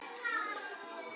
Allt gott og fallegt fólk.